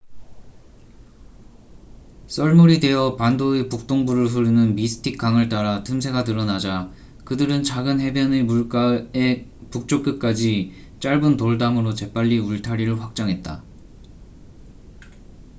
썰물이 되어 반도의 북동부를 흐르는 미스틱 강을 따라 틈새가 드러나자 그들은 작은 해변의 물가에 북쪽 끝까지 짧은 돌담으로 재빨리 울타리를 확장했다